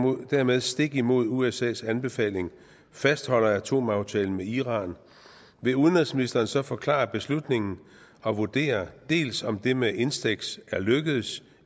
og dermed stik imod usas anbefaling fastholder atomaftalen med iran vil udenrigsministeren så forklare beslutningen og vurdere dels om det med instex er lykkedes